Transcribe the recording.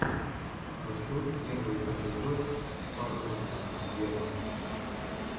хочу первый эпизод фарруко вево